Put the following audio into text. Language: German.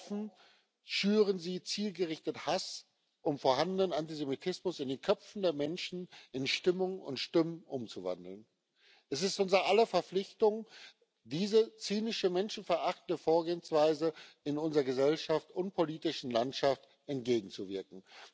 offen schüren sie zielgerichtet Hass, um vorhandenen Antisemitismus in den Köpfen der Menschen in Stimmung und Stimmen umzuwandeln. Es ist unser aller Verpflichtung, dieser zynischen, menschenverachtenden Vorgehensweise in unserer Gesellschaft und politischen Landschaft entgegenzuwirken.